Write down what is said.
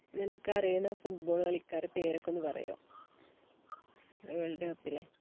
നിനക്കറിയുന്ന football കളിക്കാരെ പേരൊക്കെ ഒന്ന് പറയുമോ world cup ലെ